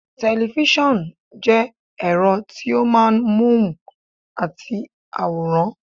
Tẹ̀lifísàn jẹ́ ẹ̀rọ tí ó máa ń móhùn àti àwòrán